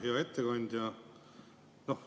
Hea ettekandja!